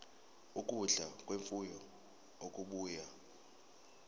ukudla kwemfuyo okubuya